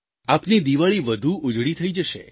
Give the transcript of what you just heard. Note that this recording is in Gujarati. આપની દિવાળી વધુ ઉજળી થઈ જશે